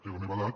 té la meva edat